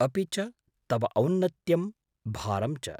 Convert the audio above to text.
अपि च तव औन्नत्यं, भारं च।